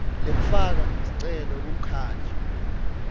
lekufaka sicelo kumkhandlu